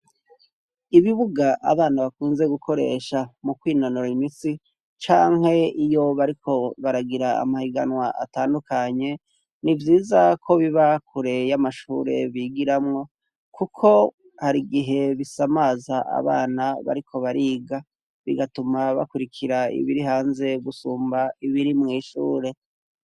Ibibuga abana bakunze gukoresha mu kwinonora imitsi, canke iyo bariko baragira amahiganwa atandukanye, ni vyiza ko biba kure y'amashure bigiramwo kuko hari igihe bisamaza abana bariko bariga bigatuma bakwirikira ibiri hanze gusumba ibiri mw'ishure.